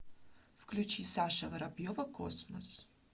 включи саша воробьева космос